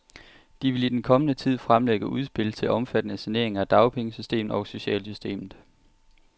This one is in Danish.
De vil i den kommende tid fremlægge udspil til omfattende saneringer af dagpengesystemet og socialsystemet.